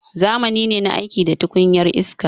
Zamani ne na aiki da tukunyar iska.